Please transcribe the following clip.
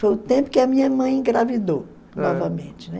Foi o tempo que a minha mãe engravidou novamente, né?